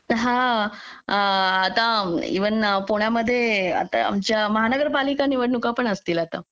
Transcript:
हा आता इव्हन पुणे मध्ये आमच्या महानगरपालिका निवडणुका पण असतील आता